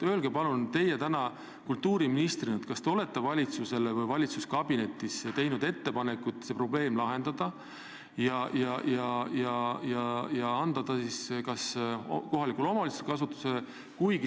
Öelge palun teie kultuuriministrina, kas te olete valitsusele või valitsuskabinetis teinud ettepaneku see probleem lahendada ja anda see maja kohaliku omavalitsuse kasutusse.